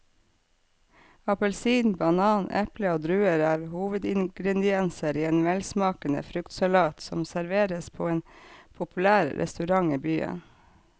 Appelsin, banan, eple og druer er hovedingredienser i en velsmakende fruktsalat som serveres på en populær restaurant i byen.